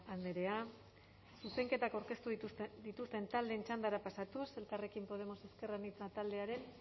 andrea zuzenketak aurkeztu dituzten taldeen txandara pasatuz elkarrekin podemos ezker anitza taldearen